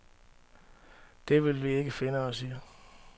Det vil vi ikke finde os i.